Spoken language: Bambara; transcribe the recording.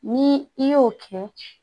Ni i y'o kɛ